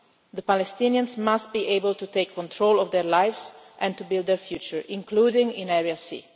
the ground. The Palestinians must be able to take control of their lives and to build a future, including